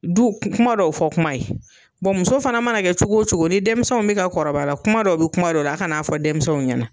Du kuma dɔw fɔ kuma ye muso fana mana kɛ cogo cogo ni denmisɛnw bɛ ka kɔrɔbaya la kuma dɔw bɛ kuma dɔ la a kan'a fɔ denmisɛnw ɲɛna.